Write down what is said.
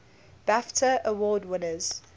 bafta award winners